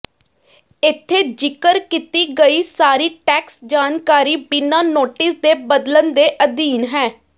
ਇੱਥੇ ਜ਼ਿਕਰ ਕੀਤੀ ਗਈ ਸਾਰੀ ਟੈਕਸ ਜਾਣਕਾਰੀ ਬਿਨਾਂ ਨੋਟਿਸ ਦੇ ਬਦਲਣ ਦੇ ਅਧੀਨ ਹੈ